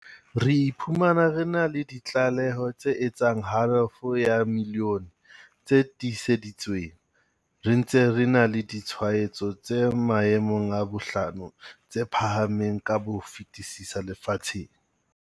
Re iphumana re na le ditlaleho tse etsang halofo ya milione tse tiiseditsweng, re ntse re na le ditshwaetso tse maemong a bohlano tse phahameng ka ho fetisisa lefatsheng.